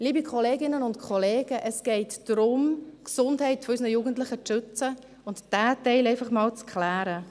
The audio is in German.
Liebe Kolleginnen und Kollegen, es geht darum, die Gesundheit unserer Jugendlichen zu schützen und diesen Teil einfach mal zu klären.